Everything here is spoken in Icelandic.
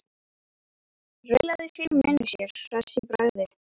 Raulaði fyrir munni sér hress í bragði.